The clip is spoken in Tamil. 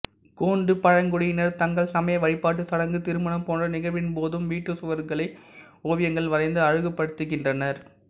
கோண்டு பழங்குடியினர் தங்கள் சமய வழிபாட்டுச் சடங்கு திருமணம் போன்ற நிகழ்வின்போதும் வீட்டுச் சுவர்களை ஓவியங்கள் வரைந்து அழகுபடுத்துகின்றனர்